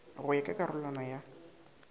go ya ka karolwana ya